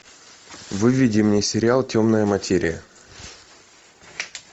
выведи мне сериал темная материя